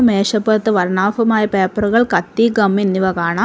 മേശപ്പുറത്ത് വർണ്ണാഭമായ പേപ്പറുകൾ കത്തി ഗം എന്നിവ കാണാം.